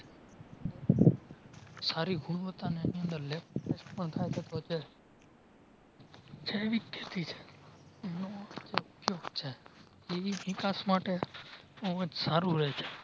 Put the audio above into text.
સારી ગુણવત્તા ને એની અંદર ઇ ચિકાસ માટે બોવ જ સારું રેહશે